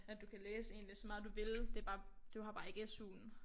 At du kan læse egentlig så meget du vil du har bare ikke SUen